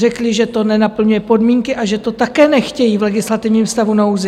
Řekli, že to nenaplňuje podmínky a že to také nechtějí v legislativním stavu nouze.